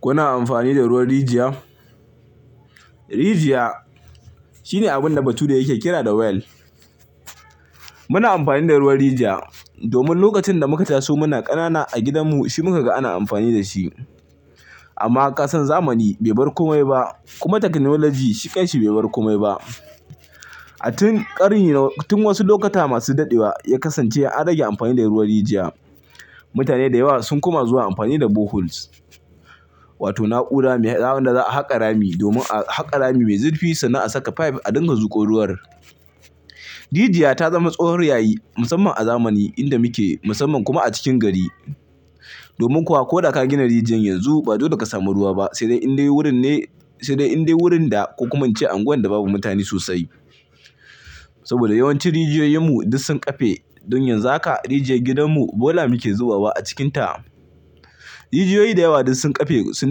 Kuna amfani da ruwan rijiya? Rijiya shi ne abin da bature yake kira da well. Muna amfani da ruwan rijiya domin lokacin da muka taso muna ƙanana a gidanmu, shi muka ga ana amfani da shi. Amma ka san zamani bai bar komai ba kuma fasaha shikan sa bai bar komai ba. A can ƙarni tun wasu lokuta masu daɗewa ya kasance an daina amfani da ruwan rijiya. Mutane da yawa sun koma zuwa amfani da boreholes. Wato na'ura wadda za a haƙa Rami, domin a haƙa rami mai zurfi sannan a saka pipe a dinga tsotse ruwa. Rijiya ta zama tsohuwar hanya musamman a zamani da muke, musamman kuma a cikin gari. Domin ko da ka gina rijiyar yanzu ba lallai ne ka samu ruwa ba, sai dai idan wurin ne, sai dai in dai wurin da ko kuma ince unguwa da babu mutane sosai. Saboda yawanci rijiyoyinmu duk sun kafe. Don yanzu haka rijiyar gidanmu bola muke zubawa a cikinta. Rijiyoyi da yawa duk sun ƙafe, sun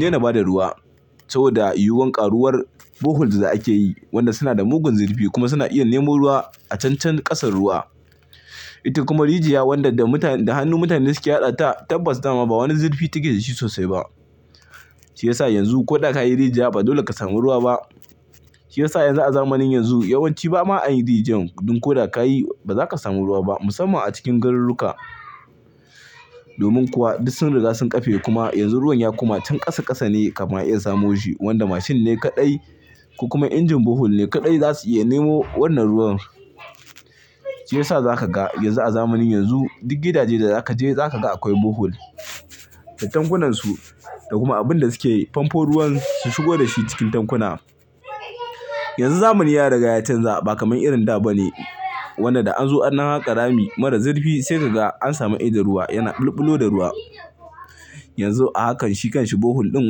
daina ba da ruwa. Saboda yiwuwar ƙaruwar boreholes da ake yi, waɗanda suke matuƙar zurfi kuma suna iya nemo ruwa a can kasa-kasa Ita kuma rijiya wadda da hannu mutane suke haƙata, tabbas ba ma wani zurfi take da shi sosai ba. Shi ya sa yanzu ko da ka yi rijiya ba dole ka samu ruwa ba. Shi ya sa yanzu a zamanin yanzu yawanci ba ma yin rijiyar. Don ko da ka yi ba za ka samu ruwa ba musamman a cikin garuruwa. Domin kuwa duk sun riga sun ƙafe kuma yanzu ruwan ya koma can ƙasa-ƙasa ne kafin a iya samo shi wadda mashin ne kaɗai ko kuma injin borehole ne kaɗai za su iya nemo wannan ruwan. Shi ya sa za ka ga yanzu a zamanin yanzu duk gidaje da za ka je za ka ga akwai borehole, da tankunansu, da kuma abin da suke famfo ruwan su shigo da shi cikin tankuna. Yanzu zamani ya riga ya canza ba kamar irin da ba. Wato idan an zo an haƙa rami marar zurfi sai ka ga an samu idon ruwa yana bulbulowa da ruwa. Yanzu a hakan shi kan sa borehole din,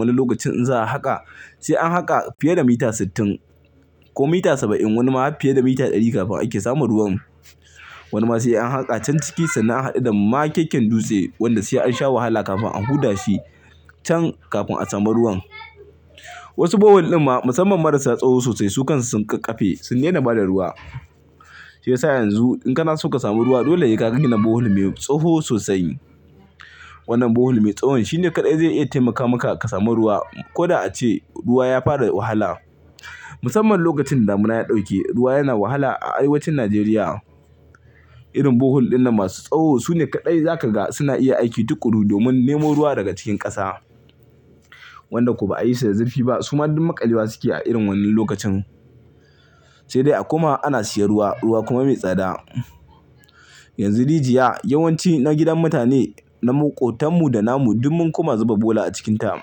wani lokacin in za a haƙa, sai an haƙa fiye da mita sittin ko mita saba'in wani ma fiye da mita ɗari kafin a samu ruwan. Saboda yiwuwar yawaitar boreholes da ake yi, wanda suna da mugun zurfi kuma suna iya nemo ruwa a can can ƙasan ruwa. Wasu borehole ɗin ma musamman marasa tsawo sosai, su kansu sun kafe, sun daina ba da ruwa. Shi ya sa yanzu indan kana so ka samu ruwa, dole ne ka gina borehole mai tsawo sosai. Wannan borehole mai tsawo shi ne kaɗai zai iya taimaka maka ka samu ruwa. Ko da a ce ruwa ya fara wahala. Musamman lokacin da damuna ya ɗauke ruwa yana wahala a arewacin Najeriya. Irin borehole din nan masu tsawo su ne kaɗai za ka ga suna iya aiki tukuru domin nemo ruwa daga cikin ƙasa. Wanda ko ba a yi su da zurfi sosai ba su ma duk maƙale wa suke a irin wannan lokacin. Sai dai a koma ana sayen ruwa, ruwa kuma mai tsada. Yanzu rijiyoyin gidajen mutane ta maƙotanmu da tamu, duk mun koma zuba kazanta a cikinta.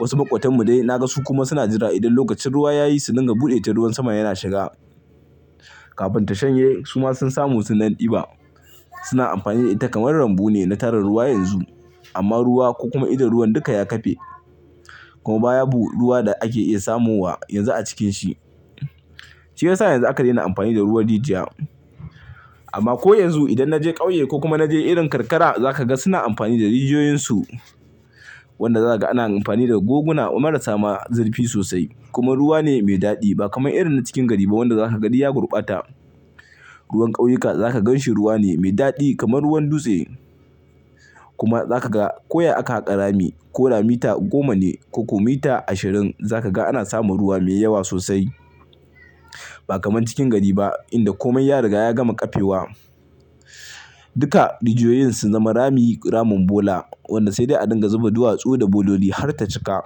Wasu maƙotanmu dai na ga su kuma suna jira idan lokacin ruwa ya yi su dinga buɗe ta ruwan sama ya na shiga. Kafin ta shanye su ma sun samu, sun ɗan ɗiba. Suna amfani da ita kamar rumbu ne na tara ruwa yanzu. Amma ruwa ko kuma idon ruwa duka ya kafe. Kuma babu ruwa da ake iya samowa yanzu a cikinsa. Shi yasa yanzu aka daina amfani da ruwan rijiya. Amma ko yanzu idan na je ƙauye ko kuma na je irin karkara, za ka ga suna amfani da rijiyoyinsu. Wanda za ka ga ana amfani da guguna marasa zurfi sosai. Kuma ruwa ne mai daɗi ba kamar irin na cikin gari ba wanda za ka ga duk ya gurɓata. Ruwan ƙauyuka za ka gan shi ruwa ne mai daɗi kamar ruwan dutse. Kuma za ka ga ko yaushe aka haƙa rami, ko da mita goma ne ko kuma mita ashirin, za ka ga ana samun ruwa mai yawa sosai. Ba kamar cikin gari ba inda komai ya riga ya gama ƙafewa. Duka rijiyoyin sun zama rami, ramin bola. Wanda sai dai a dinga zuba duwatsu da bola har ta cika.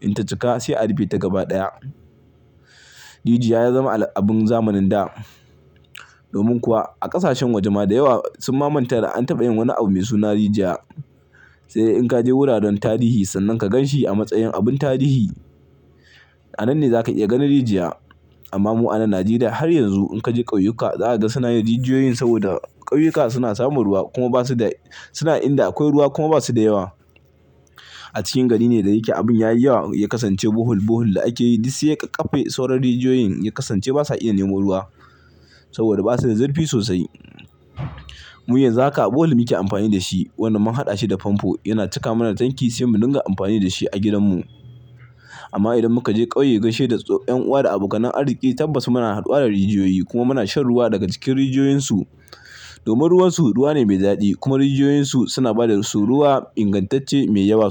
In ta cika sai a rufe ta gaba ɗaya. Rijiyoyi sun zama abin zamanin da. Domin kuwa a ƙasashen waje ma da yawa sun ma manta da an taɓa samun wani abu mai suna rijiya. Sai dai in ka je wuraren tarihi sannan ka gan shi a matsayin abin tarihi. A nan ne za ka iya ganin rijiya. Amma mu a nan Najeriya har yanzu in ka je ƙauyuka za ka ga suna haƙa rijiyoyi saboda ƙauyuka suna samun ruwa, suna inda akwai ruwa kuma ba su da yawa. A cikin gari ne da yake abin ya yi yawa ya kasance rijiyoyin burtsatse da ake yi duk sai ya ƙafe sauran rijiyoyin ya zama ba sa iya nemo ruwa. Saboda ba su da zurfi sosai. Mu yanzu haka borehole muke amfani da shi. Mun haɗa shi da famfo yana cika mana tanki sai mu dinga amfani da shi a gidanmu. Amma idan muka je ƙauye don gaishe da yan uwa da abokanan arziki tabbas muna haɗuwa da rijiyoyi kuma muna shan ruwa daga cikin rijiyoyinsu. Domin ruwansu ruwa ne mai daɗi kuma rijiyoyinsu suna ba da ruwa ingantacce mai yawa.